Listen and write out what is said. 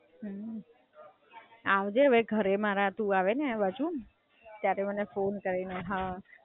આવજે હવે ઘરે મારા તું આવે ને આ બાજુ ત્યારે મને ફોન કરજે.